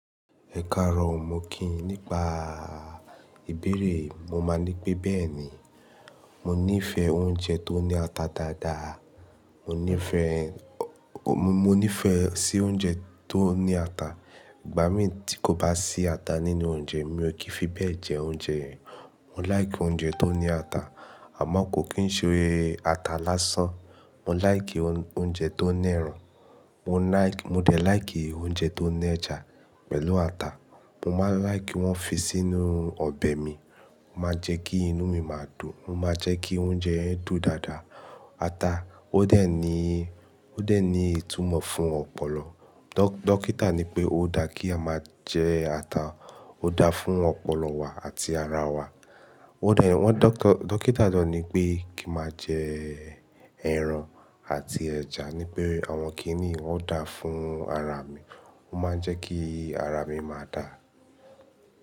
Ẹ̀karọ̀ o, mo kí yín nípa ìbéèrè, mo máa ní pé bẹ́ẹ̀ni. Mo nífẹ̀ẹ́ oúnjẹ tó ní ata dáadáa. Mo nífẹ̀ẹ́, mo nífẹ̀ẹ́ sí oúnjẹ tó ní ata. Ìgbà míì tí kò bá sí ata nínú oúnjẹ mi, mi ò kì í fi bẹ́ẹ̀ jẹ oúnjẹ. Mo like oúnjẹ tó ní ata, àmọ́ kò kín ṣe ata lásán. Mo like oúnjẹ tó ní ẹran. Mo like, mo de like oúnjẹ tó ní ẹja pẹ̀lú ata. Mo máa like wọ́n fi sínú ọbẹ̀ mi. Ó máa jẹ́ kí inú mi máa dùn. Ó máa jẹ́ kí oúnjẹ dùn dáadáa. Ata ó dẹ̀ ní, ó dẹ̀ ní ìtumọ̀ fún ọpọlọ. Dókítà ní pé ó dá kí a máa jẹ ata, ó dá fún ọpọlọ wa àti ara wa. Ó dá, wọ́n dókítà ló ní pé kí n máa jẹ ẹran àti ẹja wí pé, àwọn kíní wọn dá fún ara mi. Wọ́n máa ń jẹ́ kí ara mi máa dáa.